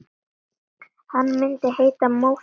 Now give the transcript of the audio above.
Hann myndi heita Móðir mín.